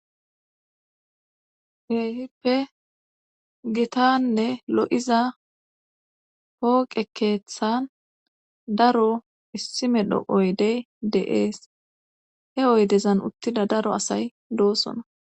keehiooe gitanne lo7iza pooqe keethan daro issi medho oydey de7ees he oydezan uttida daro asay de7oosona.